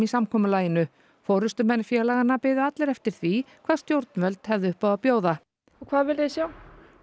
samkomulaginu forystumenn félaganna biðu allir eftir því hvað stjórnvöld hefðu upp á að bjóða hvað viljið þið sjá